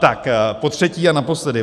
Tak potřetí a naposledy.